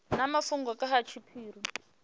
na mafhungo nga ha tshiphiri